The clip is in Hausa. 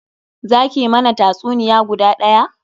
Za ki mana tatsuniya guda daya?